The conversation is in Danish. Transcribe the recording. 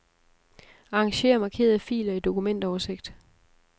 Arranger markerede filer i dokumentoversigt.